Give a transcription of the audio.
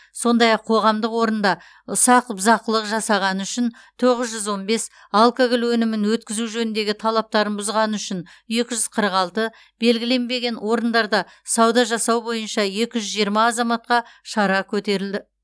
сондай ақ қоғамдық орында ұсақ бұзақылық жасағаны үшін тоғыз жүз он бес алкоголь өнімін өткізу жөніндегі талаптарын бұзғаны үшін екі жүз қырық алты белгіленбеген орындарда сауда жасау бойынша екі жүз жиырма азаматқа шара көрілді